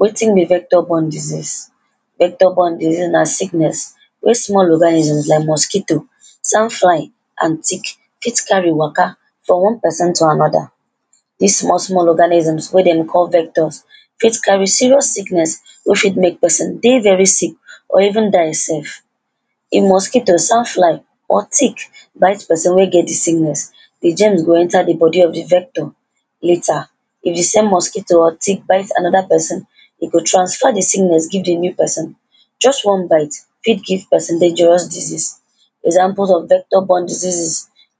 Wetin be vector borne disease? Vector borne disease na sickness wey small organisms like mosquito, sand fly and tick fit carry waka from one person to another. Dis small small organisms wey dem call vectors fit carry serious sickness wey fit mek person dey very sick or even die sef. The mosquito, sand fly or tick bite person wey get di sickness, di germs go enter di body of di vector later, if the same mosquito or tick bite another person e go transfer di sickness give di new person, just one bite fit give person dangerous disease. Example of vector borne diseases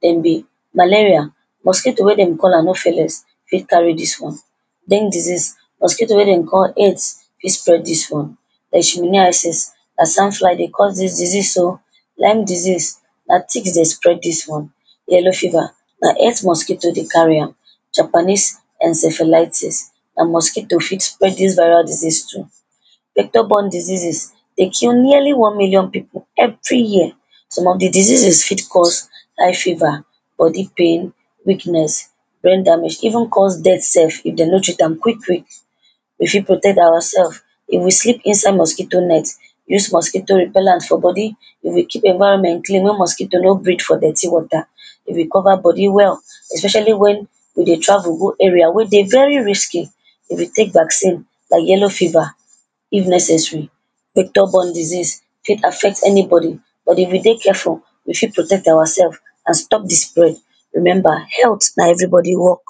dem be malaria, mosquito wey dem call anopheles fit carry dis one. Dengue disease, mosquito wey dem call aedes fit spread dis one. Leishmaniasis, na sand fly dey cause dis disease o. lyme disease na tick dey spread dis one. Yellow fever na aedes mosquito dey carry am. Japanese encephalitis na mosquito fit spread dis viral disease too. Vector borne diseases dey kill nearly one million pipu every year. Some of di diseases fit cause high fever, body pain, weakness, brain damage, even cause death sef if de no treat am quick quick. We fit protect awa sef, if we sleep inside mosquito net, use mosquito repellant for body, if we keep environment clean mey mosquito no break for dirty water, if we cover body well, especially when we dey travel go area wey dey very risky, if we tek vaccine like yellow fever if necessary. Vector borne disease fit affect anybody but if we dey careful, we fit protect awa sef and stop di spread. Remember, health na everybody work.